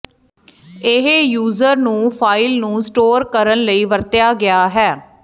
ਇਹ ਯੂਜ਼ਰ ਨੂੰ ਫਾਇਲ ਨੂੰ ਸਟੋਰ ਕਰਨ ਲਈ ਵਰਤਿਆ ਗਿਆ ਹੈ